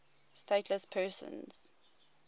stateless persons